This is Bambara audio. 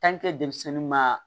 denmisɛnnin ma